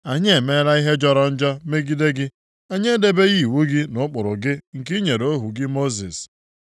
Anyị emela ihe jọrọ njọ megide gị. Anyị edebeghị iwu gị na ụkpụrụ gị nke i nyere ohu gị Mosis.